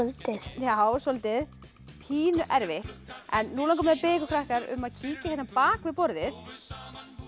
já soldið pínu erfitt nú langar mig að biðja ykkur krakkar um að kíkja hérna bak við borðið þar